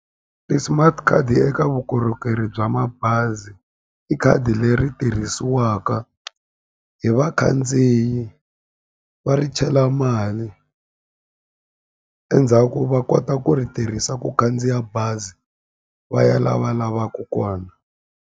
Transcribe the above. Ti-smart card eka vukorhokeri bya mabazi i khadi leri tirhisiwaka hi vakhandziyi va ri chela mali endzhaku va kota ku ri tirhisa ku khandziya bazi va ya la va lavaku kona.